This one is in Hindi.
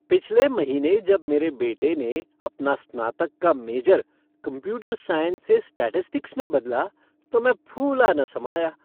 पिछले महीने जब मेरे बेटे ने अपना स्नातक का मेजर कंप्यूटर साइंस से स्टेटिस्टिक्स में बदला तो मैं फूला न समाया।